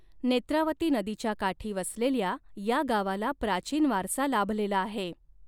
नेत्रावती नदीच्या काठी वसलेल्या या गावाला प्राचीन वारसा लाभलेला आहे.